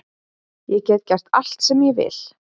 Ég get gert allt sem ég vil.